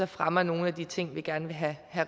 fremmer nogen af de ting vi gerne vil have